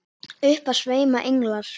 Upp af sveima englar.